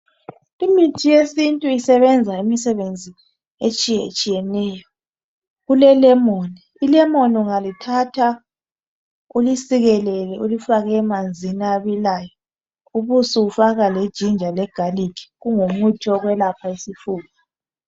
Imithi yesintu isebenza imisebenzi etshiyetshiyeneyo kule lemon ilemon ungalithatha ulisikelele ulifake emanzini abilayo ubusufaka lejinja legalikhi kungumuthi wokwelapha izifuba.